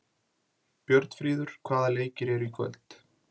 Björnfríður, hvaða leikir eru í kvöld?